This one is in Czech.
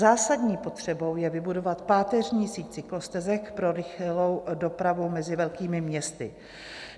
Zásadní potřebou je vybudovat páteřní síť cyklostezek pro rychlou dopravu mezi velkými městy.